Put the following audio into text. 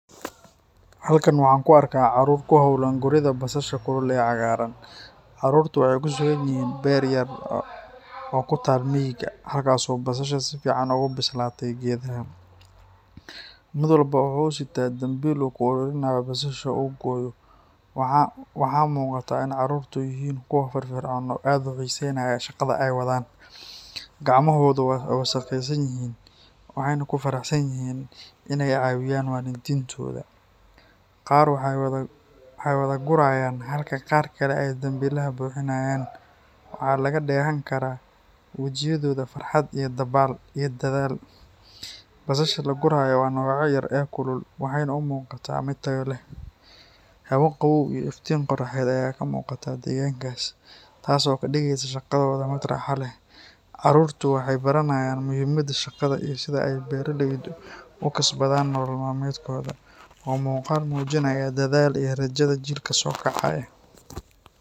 Halkan waxaan ku arkaa carruur ku hawlan guridda basasha kulul ee cagaaran. Carruurtu waxay ku sugan yihiin beer yar oo ku taal miyiga, halkaas oo basasha si fiican ugu bislaatay geedaha. Mid walba waxa uu sita dambiil uu ku ururinayo basasha uu gooyo. Waxaa muuqata in carruurtu yihiin kuwo firfircoon oo aad u xiiseynaya shaqada ay wadaan. Gacmahoodu waa wasakhaysan yihiin, waxayna ku faraxsan yihiin inay caawiyaan waalidiintooda. Qaar waxay wada gurayaan halka qaar kale ay dambiilaha buuxinayaan. Waxaa laga dheehan karaa wejiyadooda farxad iyo dadaal. Basasha la gurayo waa nooca yar ee kulul, waxayna u muuqataa mid tayo leh. Hawo qabow iyo iftiin qoraxeed ayaa ka muuqda deegaanka, taas oo ka dhigaysa shaqadooda mid raaxo leh. Carruurtu waxay baranayaan muhiimadda shaqada iyo sida ay beeraleydu u kasbadaan nolol maalmeedkooda. Waa muuqaal muujinaya dadaal iyo rajada jiilka soo kacaya.